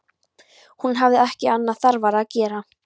Hún hafði ekki annað þarfara að gera.